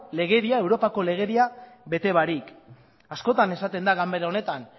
legedia europako legedia bete barik askotan esaten da ganbera honetan